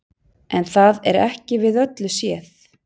En það er ekki við öllu séð.